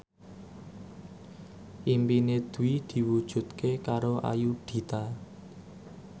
impine Dwi diwujudke karo Ayudhita